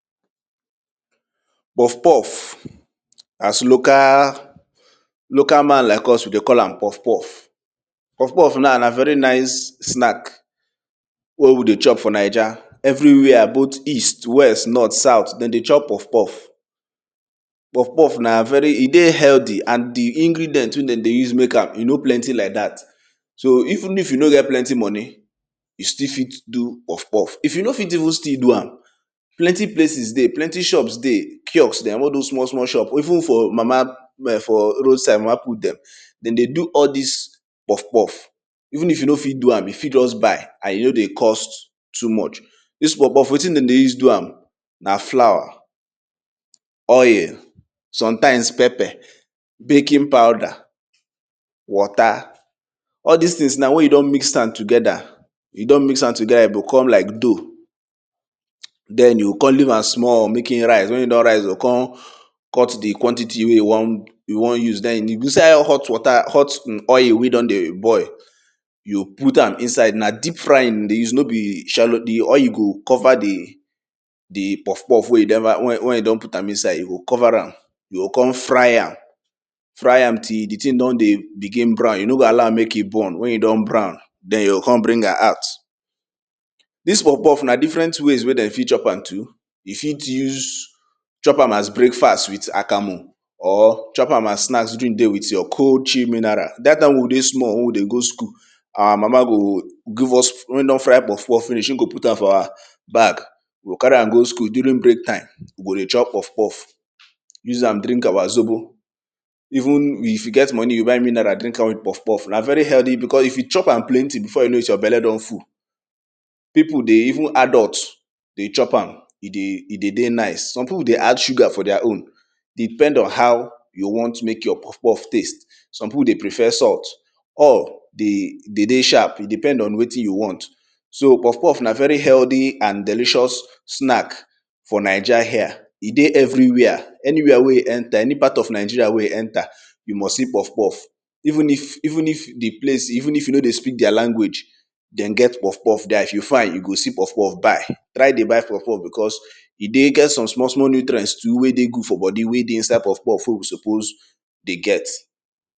Pof poff as local man like us we dey call am poff poff, poff off na a very nice snacks wey we dey chop for nija everywhere both east, west, north and south, den dey chop meatpie. Poff poff na e dey healthy and di ingredient wey dem dey use mek am, e no plenty like dat. So even if u no get plenty moni, you fit still do poff poff. If you no fit still even do am, plenty places dey wey ple ty shops dey all those small small shops even for all those mama put dem de dey do all this pof poff. Even if you no fit do am, you fit just buy and e no dey cost too much. Dis poff poff wetin de dey use do am na floor, oil sometimes peper, baking powder, water. Sll dis things na wen you don mis am together e kon like dough den you kon leave am small wen e don rise you o kon cut di quantity wey you won use. Den inside hot oil wey don dey boil, put am inside na deep frying you go use no be shallow di oil go cover di poff poff wey you don put am inside, you o cover am you o kon fry am till di thing don dey begin brow you no go allow am mek e burn den you o kon bring am out. Dis poff poff na different way wey you fit use chop am too, you fit chop am as breakfast, as with akamu or chop am snacks with you cold chill mineral. Dat time wey we dey small wey we still dey go school, mama go give us wen e don fry poff ppoff finish, go put am for our bag we o carry am go school during break time we go dey chop pof poff use am drink our zobo. Even if you get moni you buy mineral drink am with poff poff na very healthy because if you cho am plenty, before you know your belle don full. Pipu dey even adult dey chop am e dey dey nice. Some pipu dey add sugar for their own depend on how you want mek your want mek your poff poff taste. Some pipu dey prefer salt all dey dey sharp depend on wetin you want. So poff poff na very healthy and delicious snack for ninja here, e dey everywhere, anywhere wey e enter, any part of nija wey e enter, you must see poff poff even if di place even if you no dey speak their language, dem get poff poff if you find am you go see poff poff buy. Try dey buy poff poff because e get some small small nutrient wey dey good for bodi wey dey inside poff poff wey we suppose dey get.